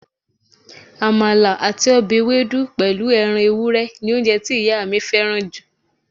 Àmàlà àti ọbẹ̀ ewédú pẹ̀lú ẹran ewúrẹ́ ni oúnjẹ tí ìyá mi fẹ́ràn jù